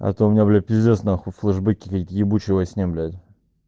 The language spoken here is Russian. а то у меня блять пиздец на хуй флешбеки как ебучей во сне блять